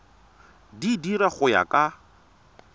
di dira go ya ka